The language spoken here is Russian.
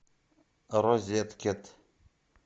розеткед